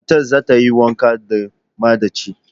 Matar za ta yi wanka da maɗachi.